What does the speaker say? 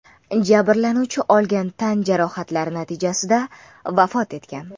Jabrlanuvchi olgan tan jarohatlari natijasida vafot etgan.